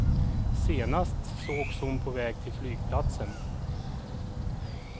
Senast sågs hon på väg till flygplatsen.